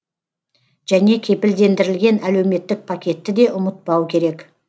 және кепілдендірілген әлеуметтік пакетті де ұмытпау керек